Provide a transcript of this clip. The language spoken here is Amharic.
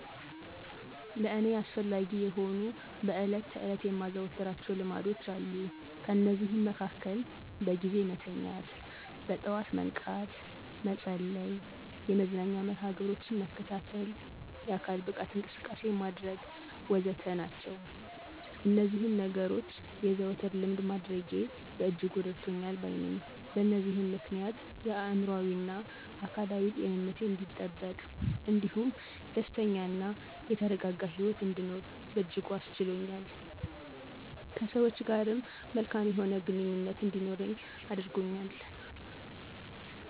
ለእኔ አስፈላጊ የሆኑ በዕለት ተዕለት የማዘወትራቸው ልማዶች አሉ። ከነዚህም መሀከል በጊዜ መተኛት፣ በጠዋት መንቃት፣ መጸለይ፣ የመዝናኛ መርሀ ግብሮችን መከታተል፣ የአካል ብቃት እንቅስቃሴ ማድረግ ወዘተረፈ ናቸው። እነዚህን ነገኖች የዘወትር ልምድ ማድረጌ በእጅጉ እረድቶኛል ባይ ነኘ። በዚህም ምክንያት የአእምሮአዊና አካላዊ ጤንነቴ አንዲጠበቅ እንዲሁም ደስተኛ እና የተረጋጋ ሂወት እንድኖር በእጅጉ አስችሎኛል። ከሰወች ጋርም መልካም የሆነ ግንኙነት እንዲኖረኝ አድርጎኛል።